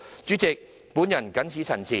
主席，我謹此陳辭。